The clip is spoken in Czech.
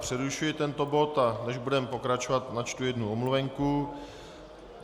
Přerušuji tento bod, a než budeme pokračovat, načtu jednu omluvenku.